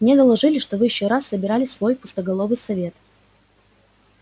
мне доложили что вы ещё раз собирали свой пустоголовый совет